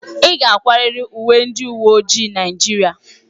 Ị ga-akwarịrị uwe ndị uwe ojii Naijiria!